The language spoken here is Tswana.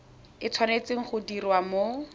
e tshwanetse go diriwa mo